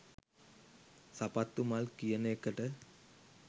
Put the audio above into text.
සපත්තු මල් කියන එකට